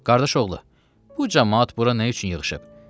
Qardaşoğlu, bu camaat bura nə üçün yığışıb?